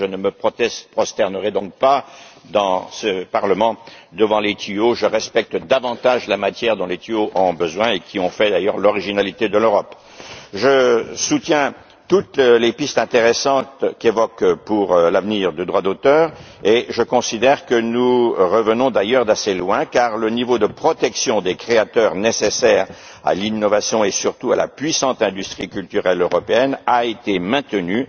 Je soutiens toutes les pistes intéressantes qui évoquent l'avenir des droits d'auteur et je considère que nous revenons d'ailleurs d'assez loin, car le niveau de protection des créateurs nécessaire à l'innovation et surtout à la puissante industrie culturelle européenne a été maintenu.